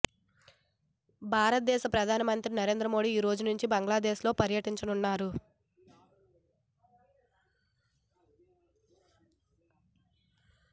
భారతదేశ ప్రధానమంత్రి నరేంద్ర మోడి ఈరోజు నుంచి బంగ్లాదేశ్ లో పర్యటించనున్నారు